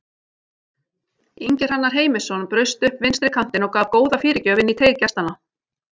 Ingi Hrannar Heimisson braust upp vinstri kantinn og gaf góða fyrirgjöf inn í teig gestanna.